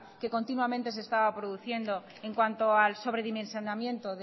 que continuamente se estaba produciendo en cuanto al sobredimensionamiento